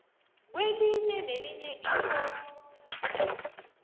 kwelinye nelinye irro